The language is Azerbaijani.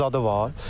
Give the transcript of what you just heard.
Şumu zadı var.